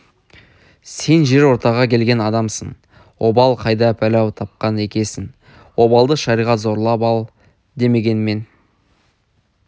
сен жер ортаға келген адамсың обал қайда пәле-ау тапқан екесің обалды шариғат зорлап ал демеген мен